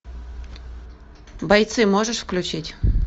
бойцы можешь включить